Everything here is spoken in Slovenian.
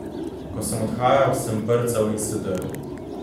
Ko sem odhajal, sem brcal in se drl.